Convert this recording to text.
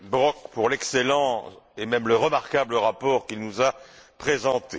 Brok pour l'excellent et même le remarquable rapport qu'il nous a présenté.